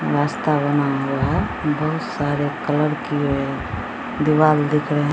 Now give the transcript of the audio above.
रास्ता बना हुआ हैं बहुत सारे कलर किए दीवार दिख रहे --